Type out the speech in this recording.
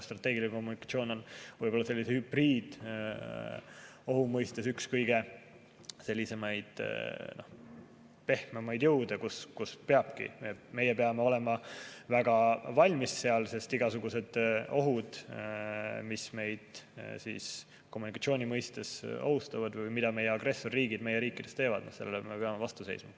Strateegiline kommunikatsioon on võib-olla sellise hübriidohu mõistes üks kõige pehmemaid jõude, kus peabki olema valmis, meie peame olema väga valmis, sest igasugustele ohtudele, mis meid kommunikatsiooni mõistes ohustavad või mida agressorriigid meie riikides põhjustavad, me peame vastu seisma.